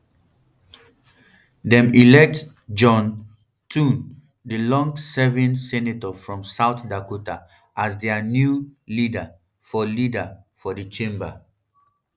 dem elect john um thune di longserving senator from south dakota as dia new um leader for leader for di chamber